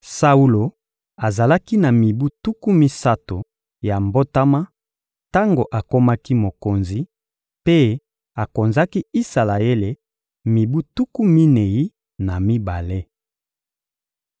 Saulo azalaki na mibu tuku misato ya mbotama tango akomaki mokonzi, mpe akonzaki Isalaele mibu tuku minei na mibale.